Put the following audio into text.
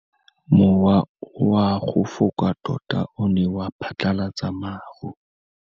Mowa o wa go foka tota o ne wa phatlalatsa maru.